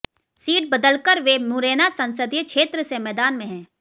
seat बदलकर वे मुरैना संसदीय क्षेत्र से मैदान में हैं